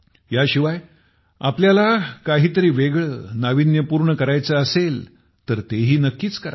ह्याशिवाय देखील आपल्याला काहीतरी वेगळं नाविन्यपूर्ण करायचे असेल तर तेही नक्कीच करा